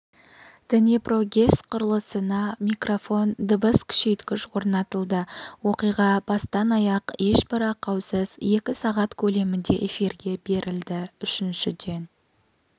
днепрогэс құрылысына микрофон дыбыс күшейткіш орнатылды оқиға бастан-аяқ ешбір ақаусыз екі сағат көлемінде эфирге берілді үшіншіден